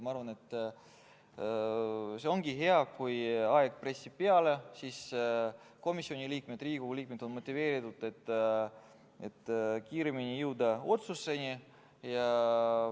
Ma arvan, et ongi hea, kui aeg pressib peale, siis on komisjoni liikmed, Riigikogu liikmed motiveeritud, et kiiremini otsusele jõuda.